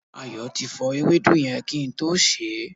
Ayo ti fọ ewédú yẹn kí n tó sè é